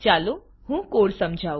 ચાલો હું કોડ સમજાવું